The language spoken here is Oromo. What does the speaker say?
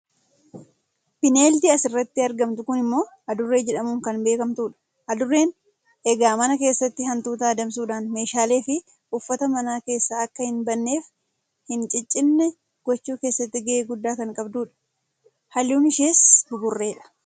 bineeldi asirratti argamtu kun immoo adurree jedhamuun kan beekamtu dha. adurreen egaa mana keessatti hantuuta adamsuudhaan meeshaaleefi uffata mana keessaa akka hin banneefi hin ciccinne gochuu keessatti gahee guddaa kan qabdudha. halluun ishees buburreedha.